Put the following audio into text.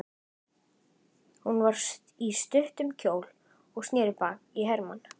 Hún var í stuttum kjól og sneri baki í Hermann.